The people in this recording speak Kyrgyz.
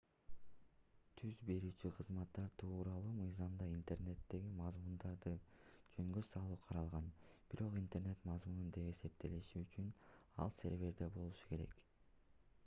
түз берүүчү кызматтар тууралуу мыйзамда интернеттеги мазмундарды жөнгө салуу каралган бирок интернет мазмуну деп эсептелиши үчүн ал серверде болушу керек